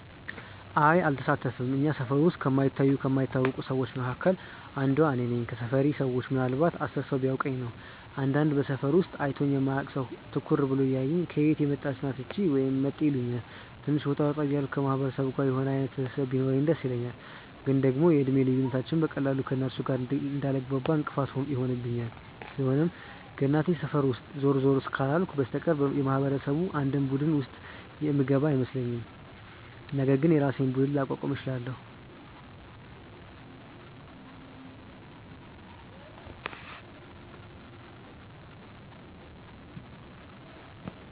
አይ አልሳተፍም። እኛ ሰፈር ውስጥ ከማይታዩ ከማይታወቁ ሰዎች መካከል አንዷ እኔ ነኝ። ከሰፈሬ ሰዎች ምናልንባት 10 ሰው ቢያውቀኝ ነው። አንዳንድ በሰፈሩ ውስጥ አይቶኝ የማያውቅ ሰው ትኩር ብሎ እያየኝ "ከየት የመጣች ናት እቺ?" ወይም "መጤ" ይሉኛል። ትንሽ ወጣ ወጣ እያልኩ ከማህበረሰቡ ጋር የሆነ አይነት ትስስር ቢኖረኝ ደስ ይለኛል፤ ግን ደግሞ የእድሜ ልዩነታችንም በቀላሉ ከእነርሱ ጋር እንዳልግባባ እንቅፋት ይሆንብኛል። ስለሆነም ከእናቴ ሰፈር ውስጥ ዞር ዞር ካላልኩ በስተቀር የማህበረሰቡ አንድም ቡድን ውስጥ የምገኝ አይመስለኝም፤ ነገር ግን የራሴን ቡድን ላቋቁም እችላለው።